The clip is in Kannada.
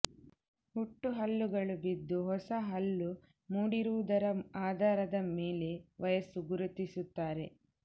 ಹುಟ್ಟು ಹಲ್ಲುಗಳು ಬಿದ್ದು ಹೊಸ ಹಲ್ಲು ಮೂಡಿರುವುದರ ಆಧಾರದ ಮೇಲೆ ವಯಸ್ಸು ಗುರುತಿಸುತ್ತಾರೆ